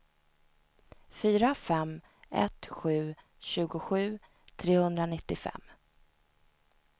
fyra fem ett sju tjugosju trehundranittiofem